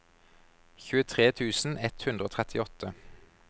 tjuetre tusen ett hundre og trettiåtte